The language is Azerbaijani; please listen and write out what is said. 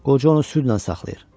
Qoca onu südlə saxlayır.